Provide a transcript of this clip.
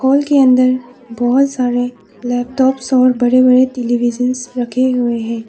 Hall के अंदर बहुत सारे लैपटॉप्स और बड़े बड़े टेलीविजन रखे हुए हैं।